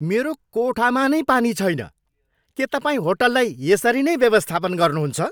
मेरो कोठामा नै पानी छैन! के तपाईँ होटललाई यसरी नै व्यवस्थापन गर्नुहुन्छ?